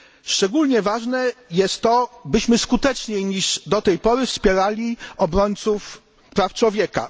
Szczególnie ważne jest to, byśmy skuteczniej niż do tej pory wspierali obrońców praw człowieka.